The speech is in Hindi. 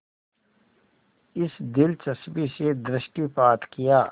इस दिलचस्पी से दृष्टिपात किया